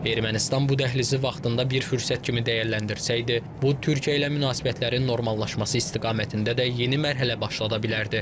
Ermənistan bu dəhlizi vaxtında bir fürsət kimi dəyərləndirsəydi, bu Türkiyə ilə münasibətlərin normallaşması istiqamətində də yeni mərhələ başlada bilərdi.